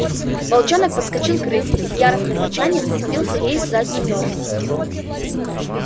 волчонок подскочил к рыси и с яростным рычанием вцепился ей в заднюю ногу